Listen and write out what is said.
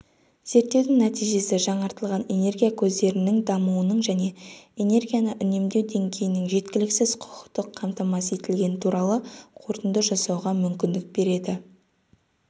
зерттеудің нәтижесі жаңартылатын энергия көздерінің дамуының және энергияны үнемдеу деңгейінің жеткіліксіз құқықтық қамтамасыз етілгені туралы қорытынды жасауға мүмкіндік береді